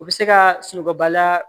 U bɛ se ka sunɔgɔba la